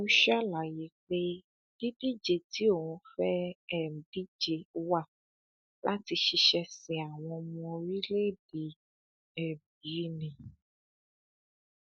ó ṣàlàyé pé dídíje tí òun fẹẹ um díje wá láti ṣiṣẹ sin àwọn ọmọ orílẹèdè um yìí ni